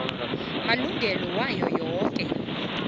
malungana nayo yoke